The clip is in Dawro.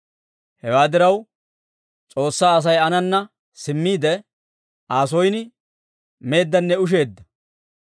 Hewaa diraw, S'oossaa Asay aanana simmiide, Aa son meeddanne usheeddanne.